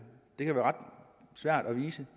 det kan være ret svært at bevise